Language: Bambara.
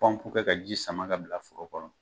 kɛ ka ji sama ka bila foro kɔnɔ.